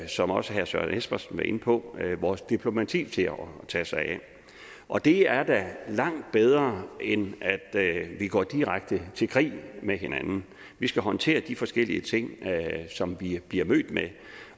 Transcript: som også herre søren espersen var inde på vores diplomati til at tage sig af og det er da langt bedre end at vi går direkte i krig med hinanden vi skal håndtere de forskellige ting som vi jo bliver mødt med